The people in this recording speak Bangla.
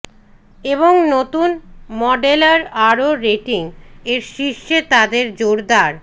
এবং নতুন মডেলার আরও রেটিং এর শীর্ষে তাদের জোরদার